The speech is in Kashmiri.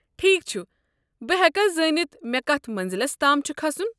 ٹھیكھ چھُ، بہٕ ہیكا زٲنِتھ مے كتھ منزِلس تام چھُ كھسُن؟